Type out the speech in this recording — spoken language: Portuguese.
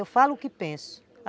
Eu falo o que penso.